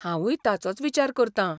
हांवूय ताचोच विचार करतां.